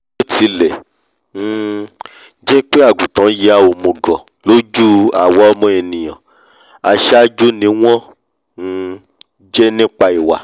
bíótilẹ̀ um jẹ́pé àgùntàn ya òmùgọ̀ lójú àwa ọmọ ènìà aṣáájú ni wọ́n um jẹ́ nípa ìwà